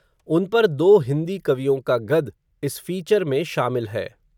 उन पर दो हिन्दी कवियों का गद, इस फ़ीचर में शामिल है